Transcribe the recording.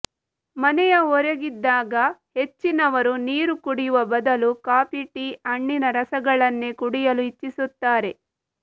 ಮನೆಯ ಹೊರಗಿದ್ದಾಗ ಹೆಚ್ಚಿನವರು ನೀರು ಕುಡಿಯುವ ಬದಲು ಕಾಫಿ ಟೀ ಹಣ್ಣಿನ ರಸಗಳನ್ನೇ ಕುಡಿಯಲು ಇಚ್ಛಿಸುತ್ತಾರೆ